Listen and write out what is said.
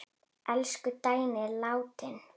Elsku Dagný er látin.